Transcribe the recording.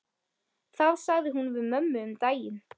Það sagði hún við mömmu um daginn.